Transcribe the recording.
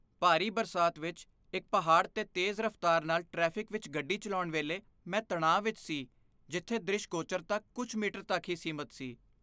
ਭਾਰੀ ਬਰਸਾਤ ਵਿੱਚ ਇੱਕ ਪਹਾੜ 'ਤੇ ਤੇਜ਼ ਰਫ਼ਤਾਰ ਨਾਲ ਟ੍ਰੈਫਿਕ ਵਿੱਚ ਗੱਡੀ ਚਲਾਉਣ ਵੇਲੇ ਮੈਂ ਤਣਾਅ ਵਿੱਚ ਸੀ ਜਿੱਥੇ ਦਰਿਸ਼ਗੋਚਰਤਾ ਕੁਝ ਮੀਟਰ ਤੱਕ ਹੀ ਸੀਮਤ ਸੀ।